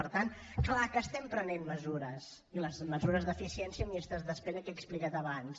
per tant clar que estem prenent mesures les mesures d’eficiència en llistes d’espera que he explicat abans